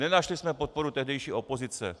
Nenašli jsme podporu tehdejší opozice.